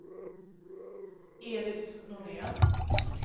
Elis Norén